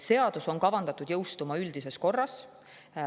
Seadus on kavandatud jõustuma üldises korras.